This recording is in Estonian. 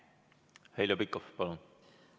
Heljo Pikhof, palun!